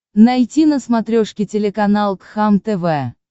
найти на смотрешке телеканал кхлм тв